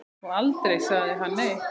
Og aldrei sagði hann nei.